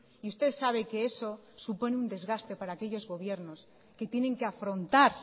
y usted sabe que eso supone un desgaste para aquellos gobiernos que tienen que afrontar